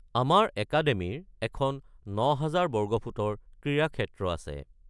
আমাৰ একাডেমিৰ এখন ৯০০০ বৰ্গফুটৰ ক্ৰীড়াক্ষেত্ৰ আছে।